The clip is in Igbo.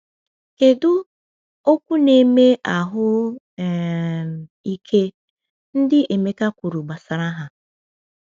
Kedu “okwu na-eme ahụ um ike” ndị Emeka kwuru gbasara ha?